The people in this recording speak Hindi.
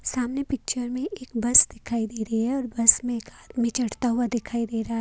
सामने पिक्चर में एक बस दिखाई दे रही है और बस में एक आदमी चढ़ता हुआ दिखाई दे रहा--